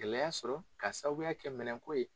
Gɛlɛya sɔrɔ ka sababuya kɛ minɛnko ye.